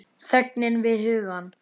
Þögnina við hugann.